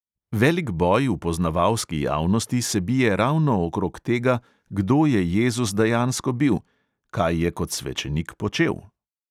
Velik boj v poznavalski javnosti se bije ravno okrog tega, kdo je jezus dejansko bil, kaj je kot svečenik počel.